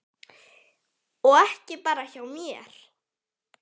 Og ekki bara hjá mér.